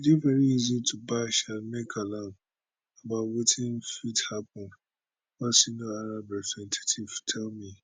e dey very easy to bash and make alarm about wetin fit happun one senior arab representative tell me